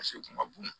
Paseke u kun ka bon